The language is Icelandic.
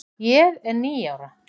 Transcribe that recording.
ég er níu ára.